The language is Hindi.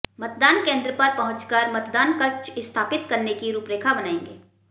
मतदान केन्द्र पर पहुंचकर मतदान कक्ष स्थापित करने की रूपरेखा बनाएंगे